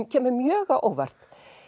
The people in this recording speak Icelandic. kemur mjög á óvart